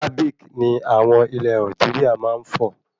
Arabic ní àwọn ilé Algeria máa ń fọ̀